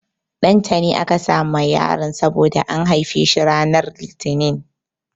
Ɗantani aka sa ma yaron saboda an haife shi ranar Litinin.